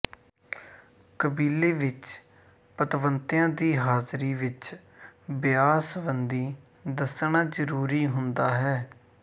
ਕਬੀਲੇ ਵਿਚ ਪਤਵੰਤਿਆਂ ਦੀ ਹਾਜ਼ਰੀ ਵਿਚ ਵਿਆਹ ਸੰਬੰਧੀ ਦੱਸਣਾ ਜ਼ਰੂਰੀ ਹੁੰਦਾ ਹੈ